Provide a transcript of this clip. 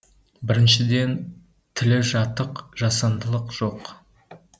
біріншіден тілі жатық жасандылық жоқ